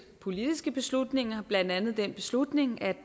politiske beslutninger blandt andet den beslutning at